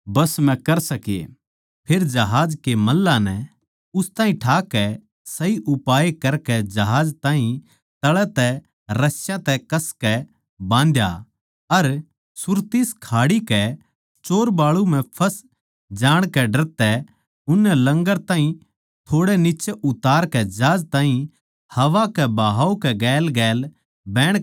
फेर जहाज के मल्लाहां नै उस ताहीं ठाकै सही उपाय करकै जहाज ताहीं तळै तै रस्‍यां तै कसकै बाँधया अर सुरतिस खाड़ी के चोरबालू पै फँस जाणकै डर तै उननै लंगर ताहीं थोड़े नीच्चै उतारकै जहाज ताहीं हवा के बाहाव के गेलगेल बहण कै खात्तर छोड़ दिया